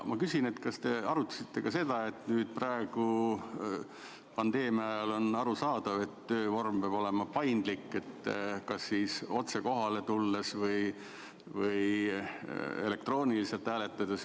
Ma küsin, kas te arutasite ka seda, et nüüd, pandeemia ajal on arusaadav, et töövorm peab olema paindlik, võib otse kohale tulla või elektrooniliselt hääletada.